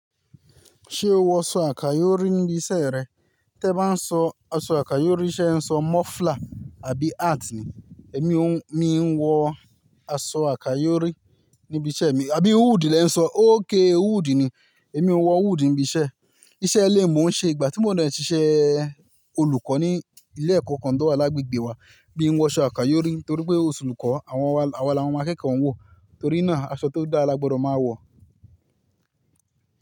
Ṣé o wọ aṣọ àkáyórí níbi iṣẹ́ rẹ? Tẹ́ ba n sọ aṣọ àkáyórí ṣé ẹ̀ n sọ muffler àbí hat ni. Èmi o n, mi n wọ aṣọ àkáyórí níbi iṣẹ́ mi, àbí hood lẹ ń sọ? Óké hood ni, èmi n wọ hood níbi iṣẹ́. Iṣẹ́ lé mò n ṣe ìgbà tí mo n de iṣẹ́ olùkọ́ ní ilé ẹ̀kọ́ kan tó wà lágbègbè wa. Mí ń wọ aṣọ àkáyórí nítorí pé osulùkọ́ àwa lawon ọmọ akẹ́kọ̀ọ́ ń wọ, torí náà aṣọ tó dára lágbodo máa wọ̀.